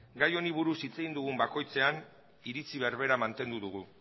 gai honi buruz hitz egin dugun bakoitzean iritzi berbera mantendu dugu